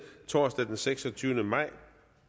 torsdag den seksogtyvende maj